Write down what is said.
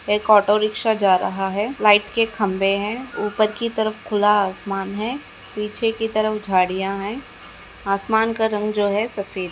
एक auto rickshaw जा रहा है लाइट के खंबे हैं ऊपर की तरफ खुला आसमान है पीछे की तरफ झाड़ियां हैं आसमान का रंग जो है सफेद है।